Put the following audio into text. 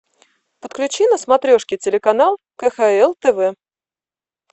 подключи на смотрешке телеканал кхл тв